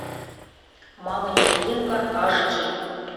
мама невидимка аш ди